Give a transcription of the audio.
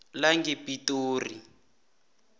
langepitori